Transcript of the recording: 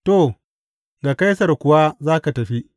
To, ga Kaisar kuwa za ka tafi!